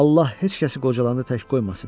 Allah heç kəsi qocalanı tək qoymasın.